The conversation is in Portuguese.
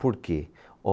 Por quê?